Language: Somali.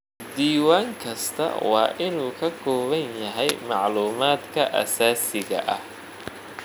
Diiwaan kastaa waa inuu ka kooban yahay macluumaadka aasaasiga ah.